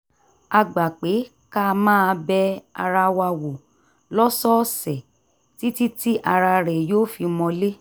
a gbà pé ká máa bẹ ara wa wò lọ́sọ̀ọ̀sẹ̀ títí tí ara rẹ̀ yóò fi mọlé